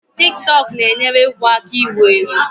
Tik tọk na-enyere egwu aka iwu-ewu